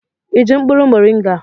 Ị ji mkpụrụ moringa?